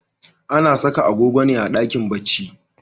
Ana saka agogo ne a dakin bacci.